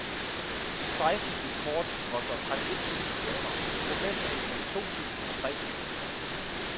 Et seksten bit kort koster omkring et tusind kroner, et professionelt mellem to tusind og tre tusind kroner.